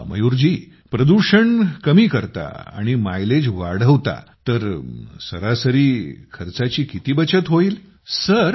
अच्छा प्रदूषण कमी करता आणि मायलेज वाढवता तर सरासरी खर्चाची किती बचत होईल